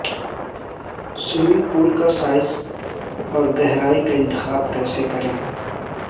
swimming pool کا size اور گہرائی کا انتخاب کیسے کریں